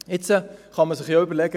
Jetzt kann man sich ja überlegen: